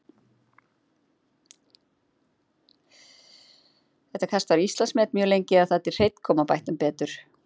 Þetta kast var Íslandsmet mjög lengi, eða þar til Hreinn kom og bætti um betur.